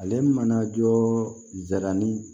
Ale mana jɔ zɛrɛni